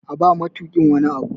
A ba matukin wani Abu!